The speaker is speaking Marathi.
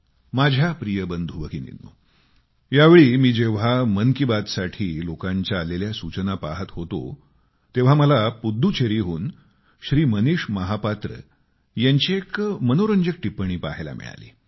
माझ्या प्रिय बंधूभगिनींनो या वेळी मी जेव्हा मन की बात साठी लोकांच्या आलेल्या सूचना पाहत होतो तेव्हा मला पुद्दुचेरीहून श्री मनीष महापात्र यांची एक मनोरंजक टिप्पणी पाहायला मिळाली